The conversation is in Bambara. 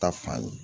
Ta fan